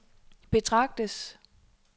betragtes